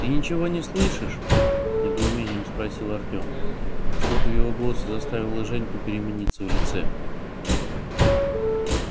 ты ничего не слышишь с недоумением спросил артем и что-то в его голосе заставило женьку перемениться в лице